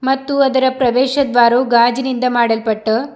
ಮತ್ತು ಅದರ ಪ್ರವೇಶ ದ್ವಾರವು ಗಾಜಿನಿಂದ ಮಾಡಲ್ಪಟ್ಟ--